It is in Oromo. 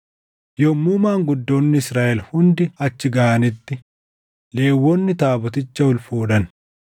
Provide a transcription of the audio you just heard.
Yommuu maanguddoonni Israaʼel hundi achi gaʼanitti Lewwonni taaboticha ol fuudhan;